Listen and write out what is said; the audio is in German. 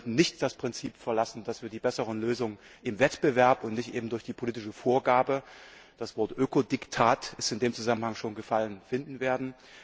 Wir sollten nicht das Prinzip verlassen, dass wir die besseren Lösungen im Wettbewerb und nicht durch die politische Vorgabe das Wort Ökodiktat ist in dem Zusammenhang schon gefallen finden werden.